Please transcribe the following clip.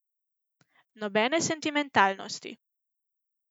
Nobene sentimentalnosti.